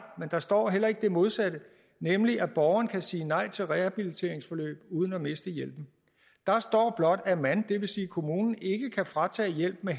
men der står heller ikke det modsatte nemlig at borgeren kan sige nej til et rehabiliteringsforløb uden at miste hjælpen der står blot at man det vil sige kommunen ikke kan fratage hjælpen